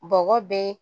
Bɔgɔ bɛ